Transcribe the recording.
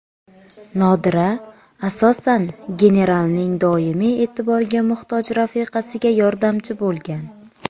Nodira, asosan, genaralning doimiy e’tiborga muhtoj rafiqasiga yordamchi bo‘lgan.